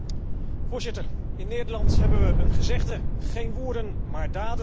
Voorzitter, in Nederland hebben we een gezegde geen woorden, maar daden.